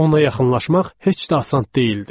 Ona yaxınlaşmaq heç də asan deyildi.